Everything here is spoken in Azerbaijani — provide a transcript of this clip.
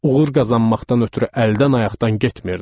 Uğur qazanmaqdan ötrü əldən ayaqdan getmirdi.